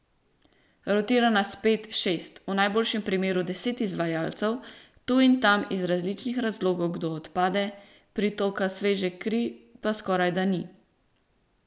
Rotira nas pet, šest, v najboljšem primeru deset izvajalcev, tu in tam iz različnih razlogov kdo odpade, pritoka sveže krvi pa skorajda ni.